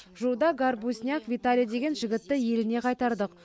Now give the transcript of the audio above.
жуырда горбузняк виталий деген жігітті еліне қайтардық